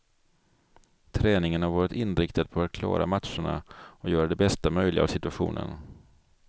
Träningen har varit inriktad på att klara matcherna och göra det bästa möjliga av situationen.